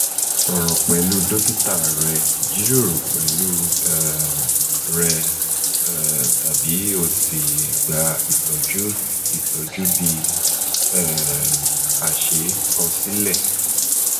sọ̀rọ̀ pẹlu dokita rẹ jiroro pẹlu um rẹ um tabi o si gba itọju itọju bi um ase kosile